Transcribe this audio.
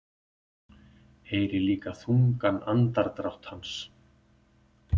Heyri líka þungan andardrátt hans.